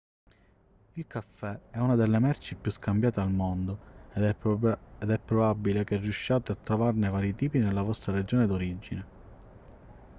il caffè è una delle merci più scambiate al mondo ed è probabile che riusciate a trovarne vari tipi nella vostra regione d'origine